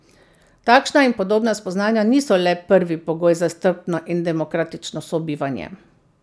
Takšna in podobna spoznanja niso le prvi pogoj za strpno in demokratično sobivanje.